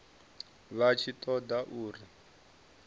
vha tshi ṱo ḓa uri